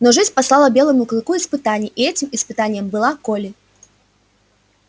но жизнь послала белому клыку испытание и этим испытанием была колли